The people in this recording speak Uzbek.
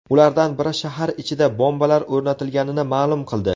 Ulardan biri shahar ichida bombalar o‘rnatilganini ma’lum qildi .